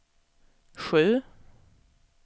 sju